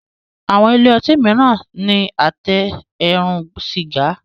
Àwọn ilé otí míràn ní Àtẹ eérún sìgá.